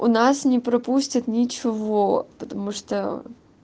у нас не пропустят ничего потому что